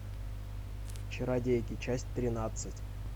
чародейки часть тринадцать